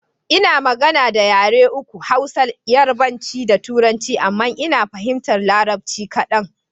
Ina magana da yare uku; Hausa, yarabanci da turanci. Amma Ina fahimtar larabci kaɗan.